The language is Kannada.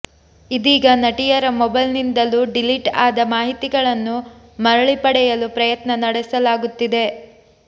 ಇದೀಗ ನಟಿಯರ ಮೊಬೈಲ್ನಿಂದಲೂ ಡಿಲೀಟ್ ಆದ ಮಾಹಿತಿಗಳನ್ನು ಮರಳಿ ಪಡೆಯಲು ಪ್ರಯತ್ನ ನಡೆಸಲಾಗುತ್ತಿದೆ